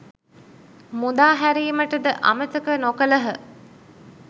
මුදා හැරීමටද අමතක නොකළහ.